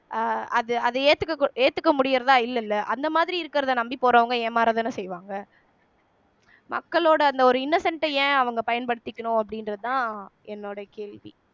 அஹ் அது அத ஏத்துக்க ஏத்துக்க முடியறதா இல்லைல்ல அந்த மாதிரி இருக்கிறதை நம்பி போறவங்க ஏமாறதானே செய்வாங்க மக்களோட அந்த ஒரு innocent அ ஏன் அவங்க பயன்படுத்திக்கணும் அப்படின்றதுதான் என்னோட கேள்வி